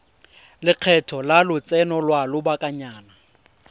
lekgetho la lotseno lwa lobakanyana